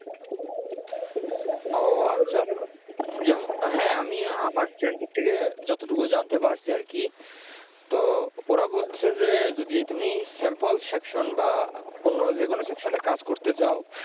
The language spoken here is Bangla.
ও আচ্ছা আচ্ছা, যেমন হ্যা আমি আমার friend র থেকে যতটুকু জানতে পারছি আর কি তো ওরা বলছে যে যদি তুমি samplesection বা অন্য যেকোনো section এ কাজ করতে চাও